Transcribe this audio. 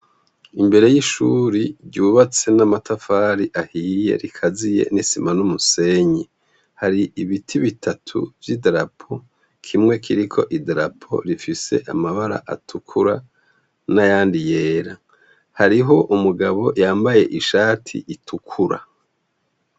Imbere y'ishuri ryubatse n'amatafari ahiye rikaziye n'isima n'umusenyi hari ibiti bitatu vy'i darapo kimwe kiriko i darapo rifise amabara atukura n'a yandi yera hariho umugabo yambaye ishati itukura.